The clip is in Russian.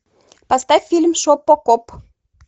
поставь фильм шопо коп